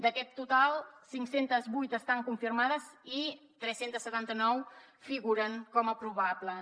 d’aquest total cinc cents i vuit estan confirmades i tres cents i setanta nou figuren com a probables